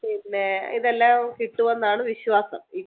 പിന്നെ ഇതെല്ലാം കിട്ടുമെന്നാണ് വിശ്വാസം